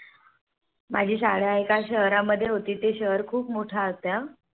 माझी शाळा एका शहर मध्ये होती. ते शहर खूप मोठे होत्या